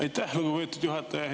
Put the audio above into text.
Aitäh, lugupeetud juhataja!